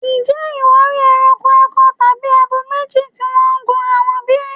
Ǹjẹ́ ìwọ rí ẹranko akọ tàbí abo méjì tí wọ́n gunra wọn bí?